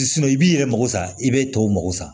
i b'i yɛrɛ mako sa i bɛ tɔw mago sa